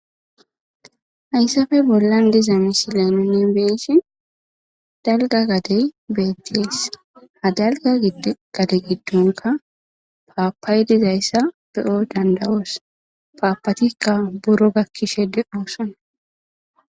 Hayssafe bollan diza misileninne beeshe dalga gadey beetties ha dalga gade giddonka paapay dizayssa beyo dandawoos paapatikka buro gakkishe deoosana.